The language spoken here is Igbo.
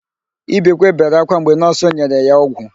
Ibekwe bere ákwá mgbe nọọsụ nyere ya ọgwụ.